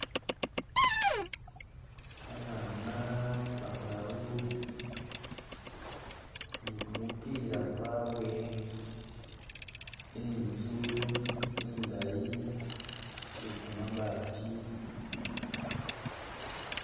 Babana bataru ni kumupila kwabwe, inzu indayi iye kamabaati